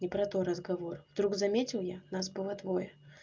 не про то разговор вдруг заметил я нас было двое